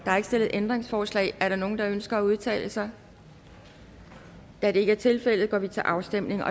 er ikke stillet ændringsforslag er der nogen der ønsker at udtale sig da det ikke er tilfældet går vi til afstemning